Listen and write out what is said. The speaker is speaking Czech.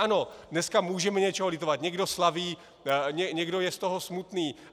Ano, dneska můžeme něčeho litovat, někdo slaví, někdo je z toho smutný.